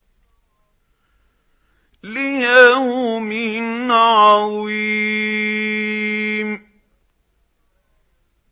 لِيَوْمٍ عَظِيمٍ